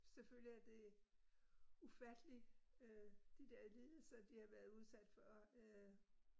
Selvfølgelig er det ufatteligt øh de der lidelser de har været udsat for øh